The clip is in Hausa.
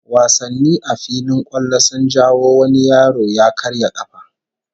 Wasanni a filin kwallo sun jawo wani yaro ya karya kafa